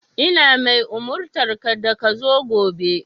Ina mai umurtanka da ka zo gobe!